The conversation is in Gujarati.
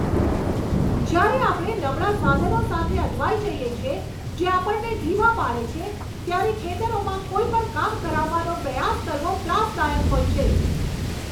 જ્યારે આપણે નબળા સાધનો સાથે અટવાઈ જઈએ છીએ, જે આપણને ધીમા પાડે છે, ત્યારે ખેતરોમાં કોઈ પણ કામ કરાવવાનો પ્રયાસ કરવો ત્રાસદાયક હોય છે.